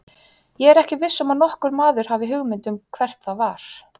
Ég er ekki viss um að nokkur maður hafi hugmynd um hvert það var.